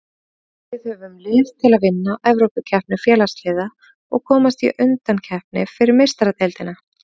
Við höfum lið til að vinna Evrópukeppni Félagsliða og komast í undankeppni fyrir Meistaradeildina.